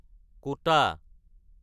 ক'টা